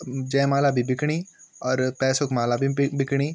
जयमाला भी बिकणी और पैसो क माला भी बि बिकणी।